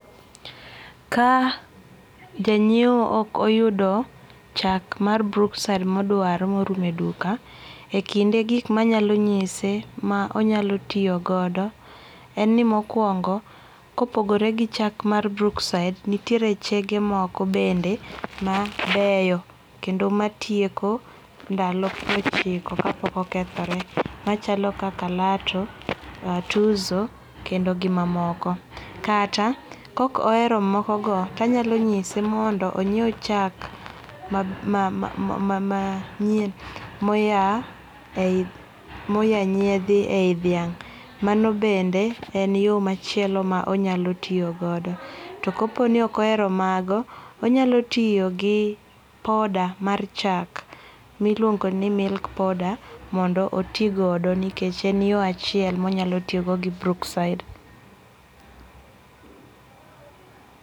Ka janyiew ok oyudo chak mar Brookside modwaro morumo e duka, ekinde gik manyalo nyise ma onyalo tiyo godo en ni monkwongo kopogore gi chak mar Brookside nitiere chege moko bende mabeyo kendo matieko ndalo piero ochiki ka pok okethore machalo kaka Latto, Tuzo kendo gi mamoko. Kata kok ohero mokogo to anyalo chise mondo ony'iew chak manyiem moa nyiedhi e iyi dhiang'. Mano bende en yo machielo ma onyalo tiyo godo. To kopo ni ok ohero mago, onyalo tiyo gi powder mar chak miluongo ni milk powder mondo oti godo nikech en yo achiel monyalo tiyogo gi Brookside.